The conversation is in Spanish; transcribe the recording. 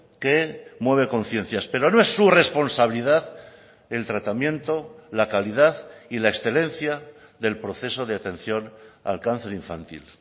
que mueve conciencias pero no es su responsabilidad el tratamiento la calidad y la excelencia del proceso de atención al cáncer infantil